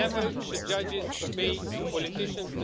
Never should judges obey politicians.